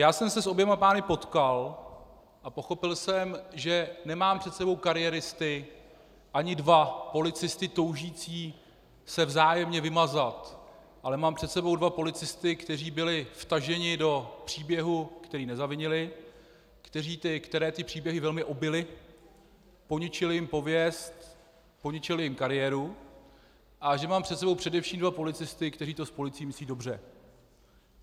Já jsem se s oběma pány potkal a pochopil jsem, že nemám před sebou kariéristy ani dva policisty toužící se vzájemně vymazat, ale mám před sebou dva policisty, kteří byli vtaženi do příběhu, který nezavinili, které ty příběhy velmi ubily, poničily jim pověst, poničily jim kariéru, a že mám před sebou především dva policisty, kteří to s policií myslí dobře.